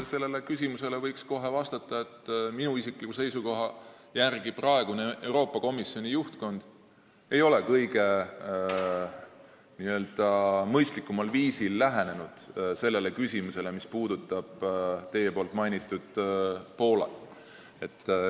Sellele küsimusele võib kohe nii vastata, et minu isikliku seisukoha järgi ei ole Euroopa Komisjoni praegune juhtkond kõige mõistlikumal viisil lähenenud sellele küsimusele, mis puudutab teie mainitud Poolat.